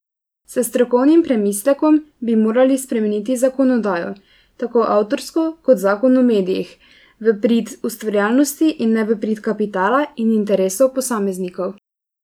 S strokovnim premislekom bi morali spremeniti zakonodajo, tako avtorsko kot zakon o medijih, v prid ustvarjalnosti in ne v prid kapitala in interesov posameznikov.